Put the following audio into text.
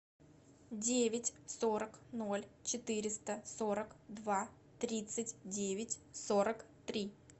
девять сорок ноль четыреста сорок два тридцать девять сорок три